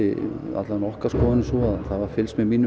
alla vega okkar skoðun er sú að það var fylgst með mínum